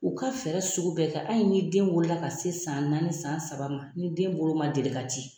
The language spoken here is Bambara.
U ka fɛɛrɛ sugu bɛɛ kɛ ayi ni den wolola ka se san naani ni san saba ma ni den bolo ma deli ka di.